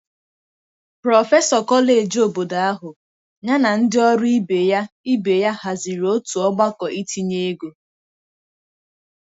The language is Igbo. Prọfesọ kọleji obodo ahu, ya na ndị ọrụ ibe ya ibe ya haziri otu ọgbakọ itinye ego.